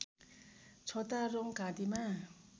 छोटा रौँ घाँटीमा